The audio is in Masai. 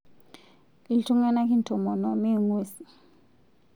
Iltung'anak intomono, mme ng'uesi